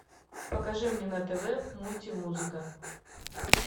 покажи мне на тв мультимузыка